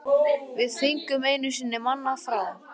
Við fengum einu sinni mann frá